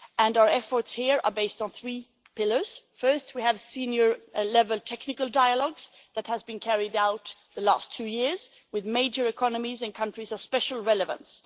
Our efforts here are based on three pillars firstly, we have senior level technical dialogues that have been carried out over the last two years with major economies in countries of special relevance.